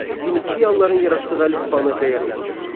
Finiyalıların yaratdığı əlifbanı dəyərləndirin.